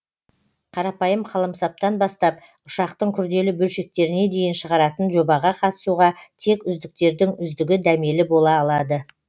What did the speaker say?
қарапайым қаламсаптан бастап ұшақтың күрделі бөлшектеріне дейін шығаратын жобаға қатысуға тек үздіктердің үздігі дәмелі бола алады